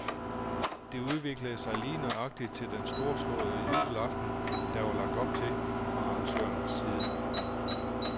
Det udviklede sig lige nøjagtigt til den storslåede jubelaften, der var lagt op til fra arrangørernes side.